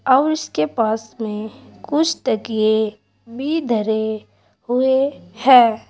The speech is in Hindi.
और उसके पास में कुछ तकिए भी धरे हुए हैं।